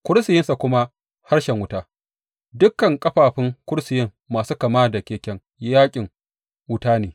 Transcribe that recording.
Kursiyinsa kuma harshen wuta, dukan ƙafafun kursiyin masu kama da keken yaƙin, wuta ne.